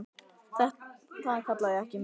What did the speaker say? Það kalla ég ekki mikið.